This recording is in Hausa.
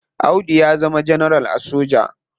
Audu ya zama ganaral a soja.